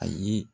Ayi